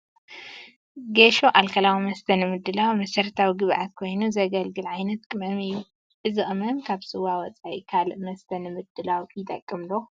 ጌሾ ኣልኮላዊ መስተ ንምድላው መሰረታዊ ግብኣት ኮይኑ ዘጝልግል ዓይነት ቅመም እዩ፡፡ እዚ ቅመም ካብ ስዋ ወፃኢ ካልእ መስተ ንምድላው ይጠቅም ዶ?